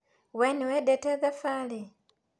Wee nĩwendete thabarĩ?